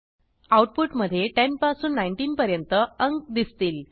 output मधे 10 पासून 19 पर्यंत अंक दिसतील